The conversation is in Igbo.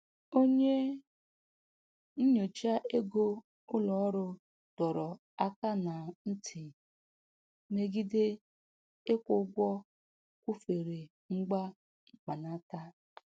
Onye nnyocha ego ụlọ ọrụ dọrọ aka na ntị megide ịkwụ ụgwọ kwụfere ngwa mkpanaka.